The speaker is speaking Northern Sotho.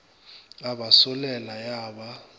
a ba solela ya ba